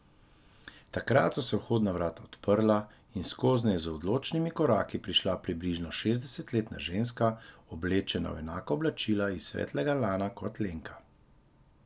Takrat so se vhodna vrata odprla in skoznje je z odločnimi koraki prišla približno šestdesetletna ženska, oblečena v enaka oblačila iz svetlega lana kot Lenka.